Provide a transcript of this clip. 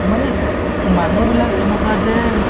মানে উম মানুহবিলাক এনেকুৱা যে